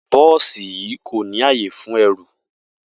Bó̩ò̩sì yìí kò ní àyè fún e̩rùn